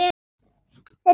Þeir fara.